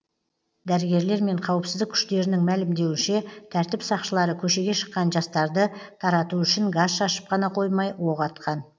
дәрігерлер мен қауіпсіздік күштерінің мәлімдеуінше тәртіп сақшылары көшеге шыққан жастарды тарату үшін газ шашып қана қоймай оқ атқан